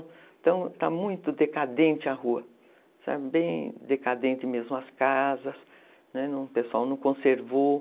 Então, está muito decadente a rua, está bem decadente mesmo as casas, o pessoal não conservou.